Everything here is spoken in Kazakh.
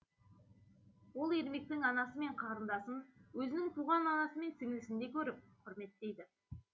ол ермектің анасы мен қарындасын өзінің туған анасы мен сіңлісіндей көріп құрметтейді